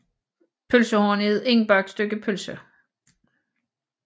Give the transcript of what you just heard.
Pølsehorn er et indbagt stykke pølse